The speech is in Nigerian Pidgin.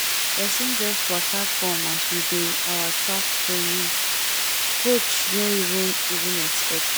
person just waka come as we dey our track training coach no even even expect am